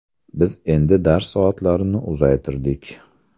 Biz endi dars soatlarini uzaytirdik.